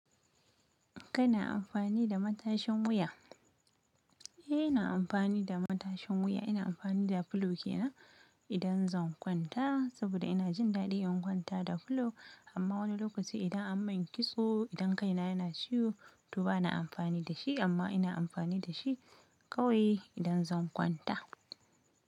Kana amfani da matashin wuya? Eh, ina amfani da matashin wuya. Ina amfani da fulo kenan idan zan kwanta saboda ina jin daɗi in kwanta da fulo. Amma wani lokaci idan an min kitso, idan kai na yana ciwo to bana amfani da shi amma ina amfani da shi kawai idan zan kwanta.